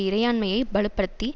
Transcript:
இறையாண்மையைப் பலுப்படுத்தி